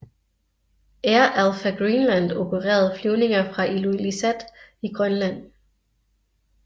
Air Alpha Greenland opererede flyvninger fra Ilulissat i Grønland